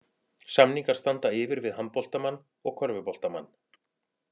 Samningar standa yfir við handboltamann og körfuboltamann.